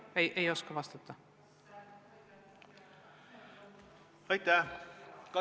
Katri Raik, palun!